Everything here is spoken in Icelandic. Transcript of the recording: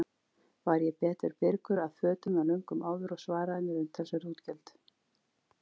Var ég betur birgur að fötum en löngum áður og sparaði mér umtalsverð útgjöld.